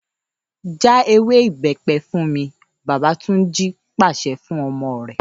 ‘Já ewé ìbé̩pe̩ fún mi!’, bàbá Túnjí pàs̩e̩ fún o̩mo̩ re